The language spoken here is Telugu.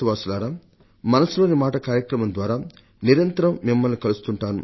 మన్ కీ బాత్ మనసు లోని మాట కార్యక్రమం ద్వారా నిరంతరం మిమ్మల్ని కలుస్తుంటాను